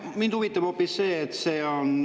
Aga mind huvitab hoopis see.